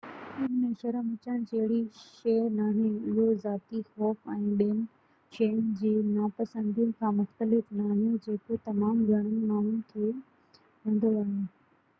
ان ۾ شرم اچڻ جهڙي شيءِ ناهي اهو ذاتي خوف ۽ ٻين شين جي ناپسندي کان مختلف ناهي جيڪو تمام گهڻن ماڻهن کي هوندو آهي